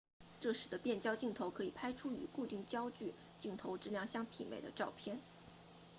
这使得变焦镜头可以拍出与固定焦距镜头质量相媲美的照片